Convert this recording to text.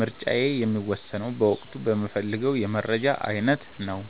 ምርጫዬ የሚወሰነው በወቅቱ በምፈልገው የመረጃ አይነት ነው።